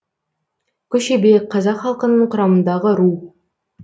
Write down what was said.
көшебе қазақ халқының құрамындағы ру